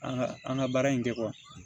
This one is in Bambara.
An ka an ka baara in kɛ